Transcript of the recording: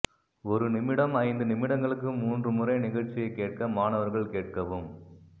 ஒரு நிமிடம் ஐந்து நிமிடங்களுக்கு மூன்று முறை நிகழ்ச்சியைக் கேட்க மாணவர்கள் கேட்கவும்